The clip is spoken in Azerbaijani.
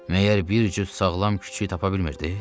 Məyər bir cüt sağlam küçüyü tapa bilmirdiniz?